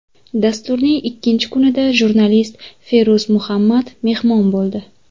Dasturning ikkinchi kunida jurnalist Feruz Muhammad mehmon bo‘ldi.